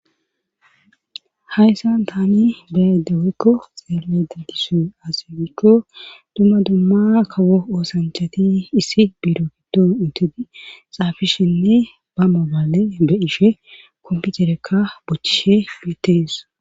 hayssan tani beyaydaweykko xeelle didisu as gikko dumma dumma kawo oosanchati issi biiro giddon intudi xaafishinne ba mobale beyishe komputerekka bochishe betees